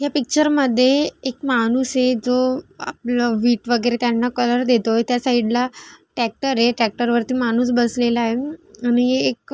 या पिक्चर मध्ये एक माणूस हे जो वीट वगैरे त्यांना कलर देतोय त्या साइडला ट्रैक्टर ये ट्रैक्टरवरती माणूस बसलेला आहे आणि एक--